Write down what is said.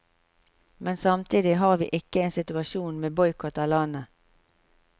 Men samtidig har vi ikke en situasjon med boikott av landet.